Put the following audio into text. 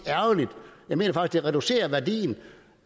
det reducerer værdien